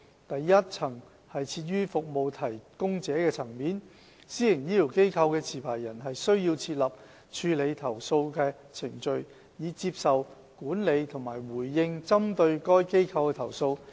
第一層設於服務提供者層面，私營醫療機構的持牌人須設立處理投訴程序，以接受、管理和回應針對該機構的投訴。